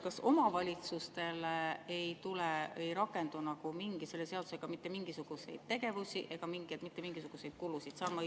" Kas omavalitsuste suhtes ei rakendu selle seadusega mitte mingisuguseid tegevusi ega mitte mingisuguseid kulusid?